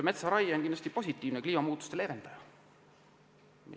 Metsaraie on kindlasti positiivne kliimamuutuste leevendaja.